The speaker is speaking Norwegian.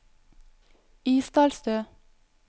Isdalstø